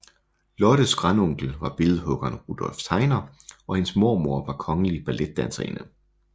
Lottes grandonkel var billedhuggeren Rudolph Tegner og hendes mormor var kongelig balletdanserinde